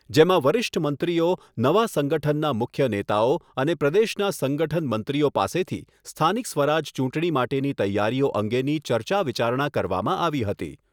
જેમાં વરિષ્ઠ મંત્રીઓ નવા સંગઠનના મુખ્ય નેતાઓ અને પ્રદેશના સંગઠન મંત્રીઓ પાસેથી સ્થાનિક સ્વરાજ ચૂંટણી માટેની તૈયારીઓ અંગેની ચર્ચા વિચારણા કરવામાં આવી હતી.